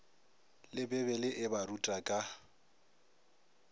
le bibele e baruta ka